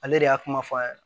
Ale de y'a kuma fɔ a ye